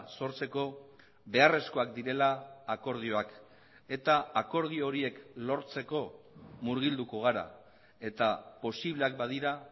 sortzeko beharrezkoak direla akordioak eta akordio horiek lortzeko murgilduko gara eta posibleak badira